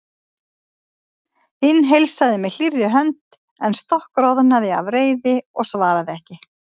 Hinn heilsaði með hlýrri hönd en stokkroðnaði af reiði og svaraði ekki.